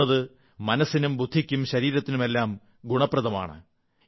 ഓടുന്നത് മനസ്സിനും ബുദ്ധിക്കും ശരീരത്തിനുമെല്ലാം ഗുണപ്രദമാണ്